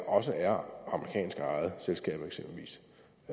også er amerikansk ejede selskaber eksempelvis